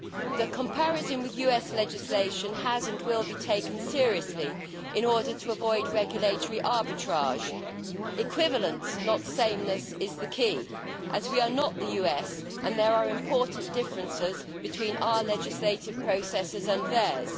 The comparison with US legislation has and will be taken seriously in order to avoid regulatory arbitrage. Equivalence, not sameness, is the key, as we are not the US and there are important differences between our legislative processes and theirs.